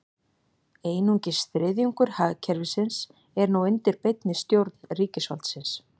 Einungis þriðjungur hagkerfisins er nú undir beinni stjórn ríkisvaldsins.